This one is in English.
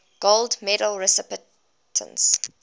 gold medal recipients